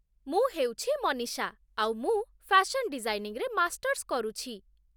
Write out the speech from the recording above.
ମୁଁ ହେଉଛି ମନୀଷା, ଆଉ ମୁଁ ଫ୍ୟାସନ୍ ଡିଜାଇନିଂରେ ମାଷ୍ଟର୍ସ କରୁଛି